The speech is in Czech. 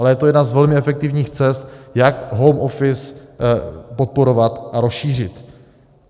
Ale je to jedna z velmi efektivních cest, jak home office podporovat a rozšířit.